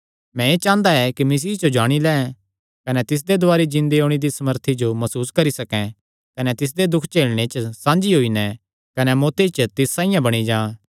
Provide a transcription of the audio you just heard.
मैं एह़ चांह़दा ऐ कि मसीह जो जाणी लैं कने तिसदे दुवारी जिन्दे होणे दिया सामर्थी जो मसूस करी सकैं कने तिसदे दुख झेलणे च साझी होई नैं कने मौत्ती च तिस साइआं बणी जां